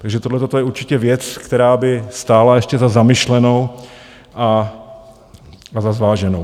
Takže tohle je určitě věc, která by stála ještě za zamyšlenou a za zváženou.